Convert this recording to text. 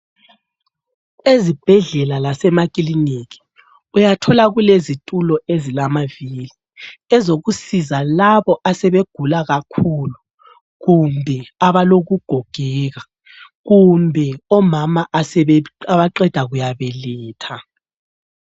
Ezibhedlela lasemakliniki uyathola kulezitulo ezilamaviri, ezokusiza labo asebegula kakhulu kumbe abalokugogeka, kumbe omama abaqeda kuyabeletha.